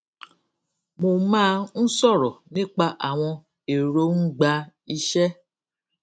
mo máa n sọrọ nípa àwọn èròngbà iṣẹ